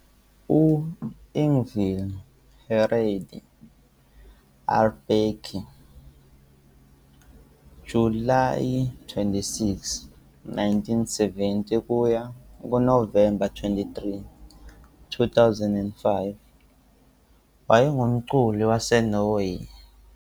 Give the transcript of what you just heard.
U-Ingvil Hareide Aarbakke, Julayi 26, 1970 - Novemba 23, 2005, wayengumculi waseNorway.